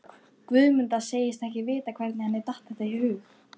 Guðmunda segist ekki vita hvernig henni datt þetta í hug.